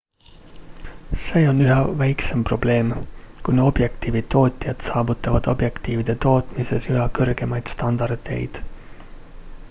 see on üha väiksem probleem kuna objektiivitootjad saavutavad objektiivide tootmises üha kõrgemaid standardeid